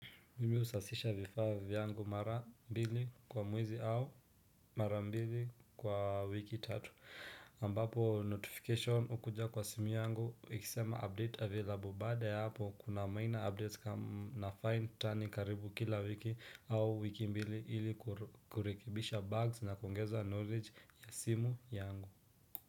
Mimi husafisha vifaa vyangu mara mbili kwa mwezi au mara mbili kwa wiki tatu ambapo notification ukuja kwa simu yangu ikisema update available baada ya hapo kuna maina update na find tani karibu kila wiki au wiki mbili ili kurekebisha bugs na kuongeza knowledge ya simu yangu.